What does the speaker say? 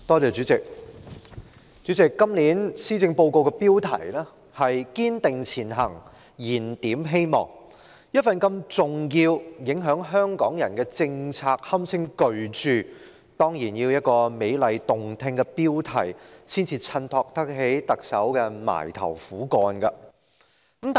主席，今年施政報告的標題是"堅定前行燃點希望"，一份如此重要、影響香港人的政策文件，可以堪稱是巨著，當然要有一個美麗動聽的標題才可襯托出特首那份"埋頭苦幹"。